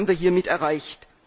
Das haben wir hiermit erreicht.